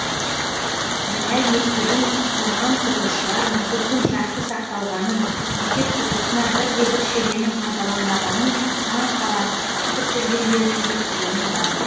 біләл мектебін бұзған құрылысшылар мектептің жақсы сақталғанын мектеп құрылысына бір де бір шегенің пайдаланбағанын таң қала айтып жүргендерін естігенім бар